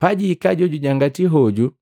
“Pajihika Jojujangati hoju